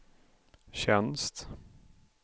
tjänst